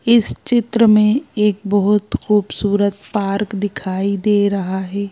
इस चित्र में एक बहुत खूबसूरत पार्क दिखाई दे रहा है।